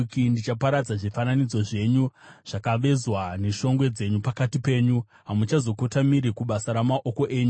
Ndichaparadza zvifananidzo zvenyu zvakavezwa neshongwe dzenyu pakati penyu; hamuchazokotamiri kubasa ramaoko enyu.